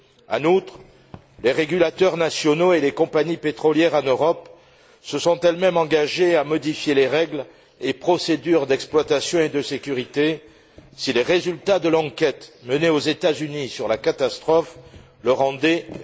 En outre, les régulateurs nationaux et les compagnies pétrolières en Europe se sont eux mêmes engagés à modifier les règles et procédures d'exploitation et de sécurité si les résultats de l'enquête menée aux États Unis sur la catastrophe l'exigeaient.